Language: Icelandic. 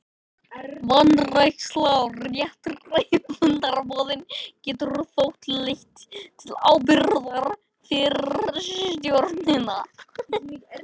Vanræksla á réttri fundarboðun getur þó leitt til ábyrgðar fyrir stjórnina.